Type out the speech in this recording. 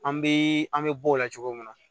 An bɛ an bɛ bo la cogo min na